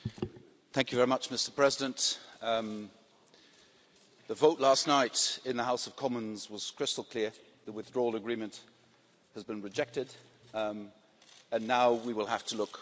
Mr President, the vote last night in the House of Commons was crystal clear the Withdrawal Agreement has been rejected and now we will have to look for a way forward.